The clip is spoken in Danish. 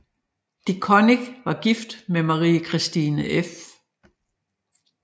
De Coninck var gift med Marie Kirstine f